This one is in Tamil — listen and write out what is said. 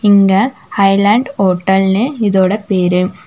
இங்க ஹைலேண்ட் ஹோட்டல்னு இதோட பேரு.